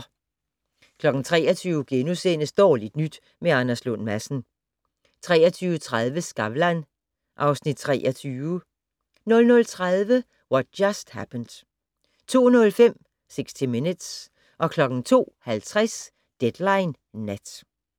23:00: Dårligt nyt med Anders Lund Madsen * 23:30: Skavlan (Afs. 23) 00:30: What Just Happened 02:05: 60 Minutes 02:50: Deadline Nat